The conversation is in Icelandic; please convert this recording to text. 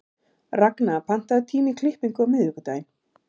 Ragna, pantaðu tíma í klippingu á miðvikudaginn.